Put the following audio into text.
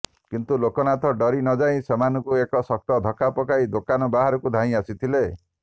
କିନ୍ତୁ ଲୋକନାଥ ଡରି ନଯାଇ ସେମାନଙ୍କୁ ଏକ ଶକ୍ତ ଧକ୍କା ପକାଇ ଦୋକାନ ବାହାରକୁ ଧାଇଁ ଆସିଥିଲେ